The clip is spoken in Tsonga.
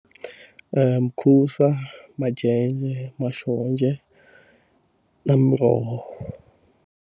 mukhusa, majenje, maxonja na miroho.